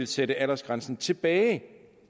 sætte aldersgrænsen tilbage